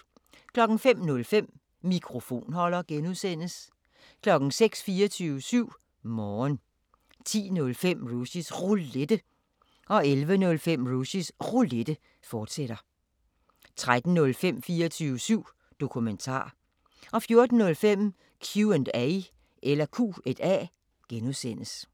05:05: Mikrofonholder (G) 06:00: 24syv Morgen 10:05: Rushys Roulette 11:05: Rushys Roulette, fortsat 13:05: 24syv Dokumentar 14:05: Q&A (G)